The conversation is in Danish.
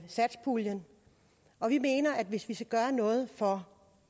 satspuljen og vi mener at hvis vi skal gøre noget for